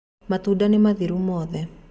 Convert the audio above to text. Matunda nĩmathiru mothe.